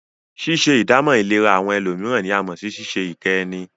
Ṣíṣe ìdámọ̀ ìlera àwọn ẹlòmíràn ní a mọ̀ sí ṣíṣe ìkẹ́ ẹni.